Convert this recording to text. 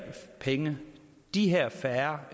penge og de her færre